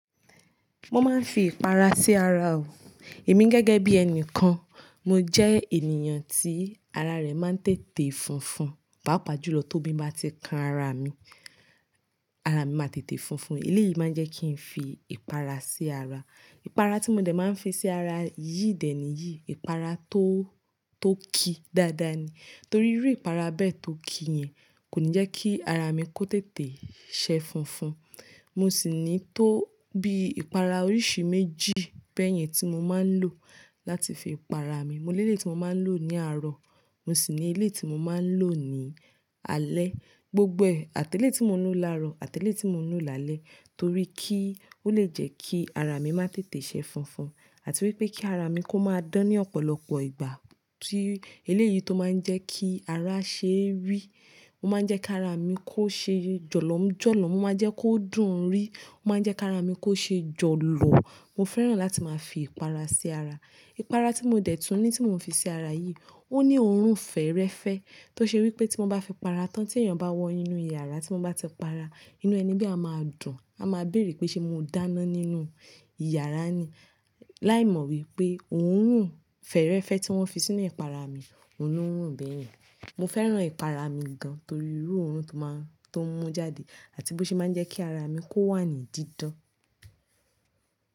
Mo máa ń fi ìpara sí ara o. Èmi gẹ́gẹ́ bí ẹni kan, mo jẹ́ ènìyàn tí ara rẹ̀ máa ń tètè funfun, pàápàá jùlọ tóbi bá ti kan ara mi, ara mi máa tètè funfun. Eléyìí máa jẹ́ kí n fi ìpara sí ara. Ìpara tí mo dẹ̀ máa ń fi sí ara yìí dẹ̀ ni yìí, ìpara tó, tó ki dáadáa ni. Torí irú ìpara bẹ́ẹ̀ tó ki yẹn kò ní jẹ́ kí ara mi kó tètè sẹ funfun. Mo sì ní tó bí ìpara oríṣi méjì bẹ́yẹn tí mo máa ń lò láti fi para mi. Mo ní ilé tí mo máa ń lò ní àárọ̀, mo sì ní ilé tí mo máa ń lò ní alẹ́. Gbogbo àtẹ́lé tí mo ń lò lárọ̀, àtẹ́lé tí mo ń lò lálẹ́ torí kí ó le jẹ́ kí ara mi má tètè sẹ funfun àti wípé kí ara mi kó máa dán ní ọ̀pọ̀lọpọ̀ ìgbà tí eléyìí tó máa ń jẹ́ kí ara ṣe rí. Ó máa ń jẹ́ kí ara mi kó ṣe jọ̀lọ́m jọ̀lọ́m, ó máa jẹ́ kó dùn rí, ó máa ń jẹ́ kí ara mi kó ṣe jọ̀lọ̀. Mo fẹ́ràn láti máa fi ìpara sí ara. Ìpara tí mo dẹ̀ tún ní tí mò ń fi sí ara yìí, ó ní òórùn fẹ́rẹ́fẹ́ tó ṣe wípé tí mo bá fi para tán tí èèyàn bá wọ inú yàrá tí mo bá ti para, inú ẹni bẹ́ẹ̀ a máa dùn. A máa bèèrè pé ṣe mo dáná nínú yàrá ni? Láì mọ̀ wípé òórùn fẹ́rẹ́fẹ́ tí wón fi sínú ìpara mi, òun ló rùn bẹ́yẹn. Mo fẹ́ràn ìpara mi gan torí irú òórùn tó máa ń, tó ń mú jáde àti bó ṣe máa ń jẹ́ kí ara mi kó wà ní dídán.